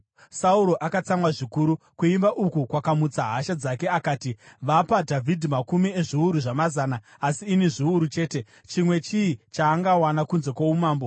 Sauro akatsamwa zvikuru; kuimba uku kwakamutsa hasha dzake akati, “Vapa Dhavhidhi makumi ezviuru zvamazana, asi ini zviuru chete. Chimwe chii chaangawana kunze kwoumambo?”